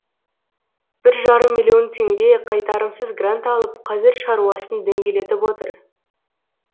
бір жарым миллион теңге қайтарымсыз грант алып қазір шаруасын дөңгелетіп отыр